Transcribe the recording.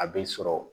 A bɛ sɔrɔ